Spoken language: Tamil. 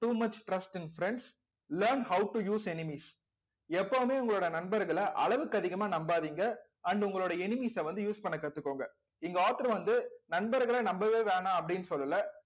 too much trust in friends learn how to use enemies எப்பவுமே உங்களோட நண்பர்களை அளவுக்கு அதிகமா நம்பாதீங்க and உங்களுடைய enemies அ வந்து use பண்ண கத்துக்கோங்க இந்த author வந்து நண்பர்களை நம்பவே வேணாம் அப்படின்னு சொல்லல